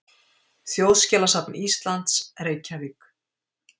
Þjóðskjalasafn Íslands, Reykjavík.